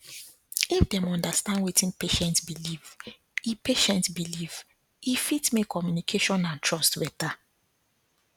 if dem understand wetin patient believe e patient believe e fit make communication and trust better